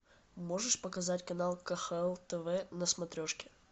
можешь показать канал кхл тв на смотрешке